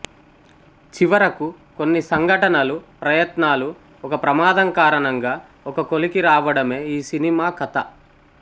చివరకు కొన్ని సంఘటనలు ప్రయత్నాలు ఒక ప్రమాదం కారణంగా ఒక కొలికి రావడమే ఈ సినిమా కథ